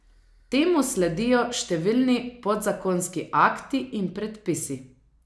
Temu sledijo številni podzakonski akti in predpisi.